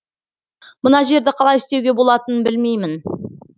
мына жерді қалай істеуге болатынын білмеймін